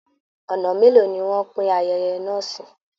Ọ̀nà mélòó ni wọ́n pín ayẹyẹ náà sí!